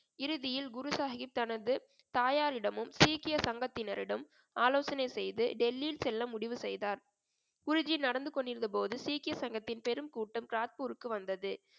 இறுதியில் குரு சாஹிப் தனது தாயாரிடமும் சீக்கிய சங்கத்தினரிடம் ஆலோசனை செய்து டெல்லி செல்ல முடிவு செய்தார் குருஜி நடந்து கொண்டிருந்தபோது சீக்கிய சங்கத்தின் பெரும் கூட்டம் கிராத்பூருக்கு வந்தது